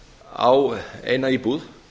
á eina íbúð